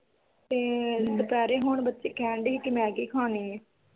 ਤੇ ਦੁਪਹਿਰੇ ਹੁਣ ਬੱਚੇ ਕਹਿਣ ਦੇ ਹੀ ਕੇ ਮੈਗੀ ਖਾਣੀ ਆ